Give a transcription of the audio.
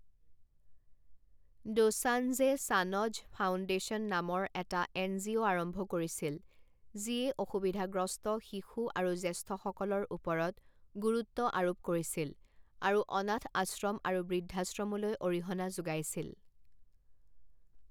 দোসান্জে Sanjh foundation নামৰ এটা N G O আৰম্ভ কৰিছিল যিয়ে অসুবিধাগ্ৰস্ত শিশু আৰু জ্যেষ্ঠসকলৰ ওপৰত গুৰুত্ব আৰোপ কৰিছিল, আৰু অনাথ আশ্ৰম আৰু বৃদ্ধাশ্ৰমলৈ অৰিহণা যোগাইছিল।